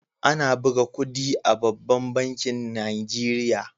Ana buga kudi a babban bankin nigeria.